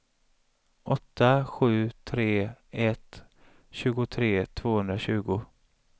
åtta sju tre ett tjugotre tvåhundratjugo